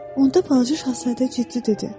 Onda balaca şahzadə ciddi dedi.